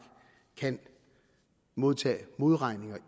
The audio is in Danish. kan modtage modregninger